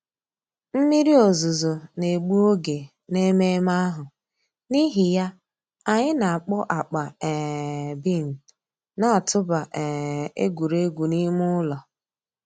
Mmírí òzùzọ̀ nà-ègbù ògè n'èmẹ̀mmẹ̀ àhụ̀, n'ìhì yà, ànyị̀ nà-àkpọ̀ àkpà um bean nà-̀tụ̀bà um ègwè́ré́gwụ̀ n'ìmè ǔlọ̀.